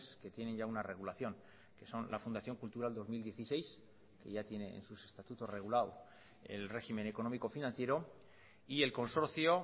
que tienen ya una regulación que son la fundación cultural dos mil dieciséis que ya tiene en sus estatutos regulado el régimen económico financiero y el consorcio